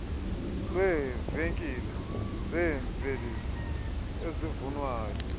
lweevenkile zeemveliso ezivunwayo